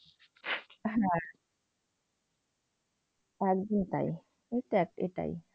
হ্যাঁ। একদমই তাই, নিশ্চয় এটাই।